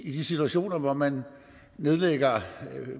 i de situationer hvor man nedlægger